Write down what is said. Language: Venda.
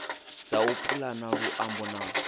dza u pulana luambo na